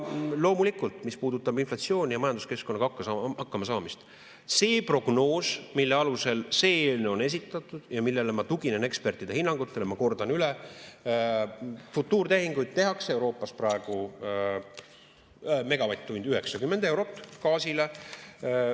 Loomulikult, mis puudutab inflatsiooni ja majanduskeskkonnaga hakkamasaamist, see prognoos, mille alusel see eelnõu on esitatud ja millele ma tuginen, ekspertide hinnangud, ma kordan üle, futuurtehinguid tehakse Euroopas praegu 90 eurot megavatt-tund gaasile.